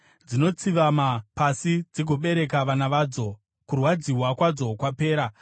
Dzinotsivama pasi dzigobereka vana vadzo; kurwadziwa kwadzo kwapera.